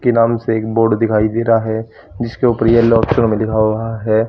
के नाम से एक बोर्ड दिखाई दे रहा है जिसके ऊपर येलो अक्षरों में लीखा हुआ है।